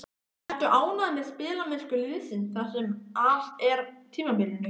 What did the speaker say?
Ertu ánægð með spilamennsku liðsins það sem af er tímabilinu?